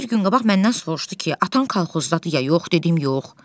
Ondan bir gün qabaq məndən soruşdu ki, atan kolxozdadır ya yox dedim yox.